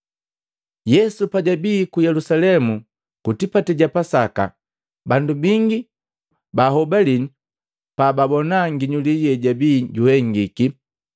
Yesu pajwabii ku Yelusalemu ku tipati ja Pasaka. Bandu bingi bahobalii pababona nginyuli yejabii juhengiki.